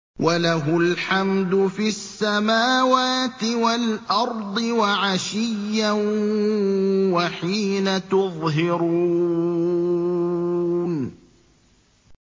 وَلَهُ الْحَمْدُ فِي السَّمَاوَاتِ وَالْأَرْضِ وَعَشِيًّا وَحِينَ تُظْهِرُونَ